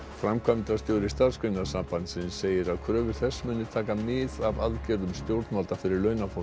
framkvæmdastjóri Starfsgreinasambandsins segir að kröfur þess muni taka mið af aðgerðum stjórnvalda fyrir launafólk